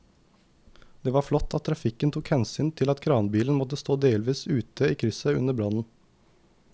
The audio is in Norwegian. Det var flott at trafikken tok hensyn til at kranbilen måtte stå delvis ute i krysset under brannen.